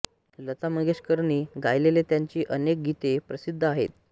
लता मंगेशकरनी गायलेली त्यांची अनेक गीते प्रसिद्ध आहेत